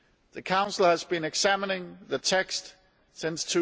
The Council has been examining the text since